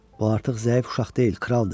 Bu artıq zəif uşaq deyil, kraldır.